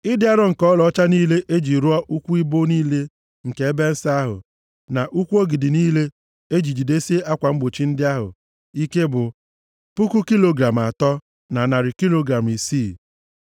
Ịdị arọ nke ọlaọcha niile e ji rụọ ụkwụ ibo niile nke ebe nsọ ahụ, na ụkwụ ogidi niile e ji jidesie akwa mgbochi ndị ahụ ike bụ puku kilogram atọ, na narị kilogram isii. Ịdị arọ nke ọlaọcha e ji wuo ụkwụ ọbụla bụ iri kilogram atọ na isii.